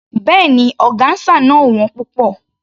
Béèni, ọgáńsà náà ò wón púpọ̀.